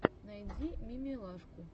найди мимилашку